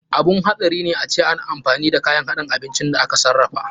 Abun hatsari ne ace ana yawan amfani da kayan haɗin abinci da aka sarrafa.